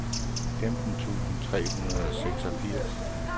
femten tusind tre hundrede og seksogfirs